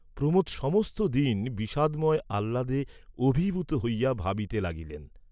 প্রমোদ সমস্ত দিন বিষাদময় আহ্লাদে অভিভূত হইয়া ভাবিতে লাগিলেন।